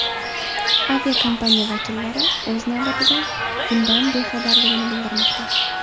Aviakompaniya vakillari, o‘z navbatida, bundan bexabarligini bildirmoqda.